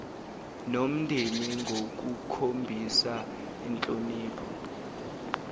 nomndeni ngokukhombisa inhlonipho